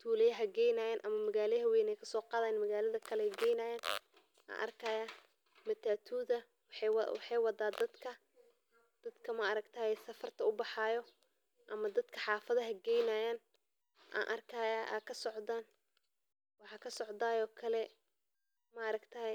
tulaya geynayan magalaada ayey kaso qadhayan magaada kale ayey geynayan matatudha waxee wada dadka maaragtaye safarta ubaxayo ama dadka safarta dadka geynayo ayan arkaya aya kasocda waxan kalo arki haya.